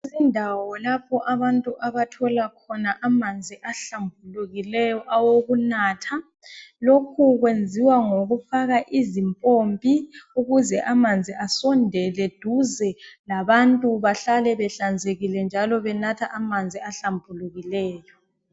Indawo lapho abantu abathola khona amanzi ahlambukileyo awokunatha lokhu kwenziwa ngokufaka izimpompi ukuze amanzi asondele duze labantu bahlale behlanzekile njalo benathe amanzi ahlambukileyo.